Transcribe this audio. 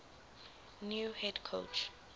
new head coach